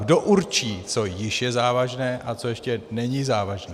Kdo určí, co již je závažné a co ještě není závažné.